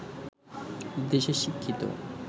দেশের শিক্ষিত